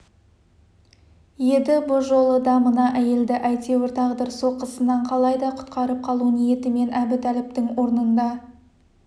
еді бұ жолы да мына әйелді әйтеуір тағдыр соққысынан қалайда құтқарып қалу ниетімен әбутәліптің орнында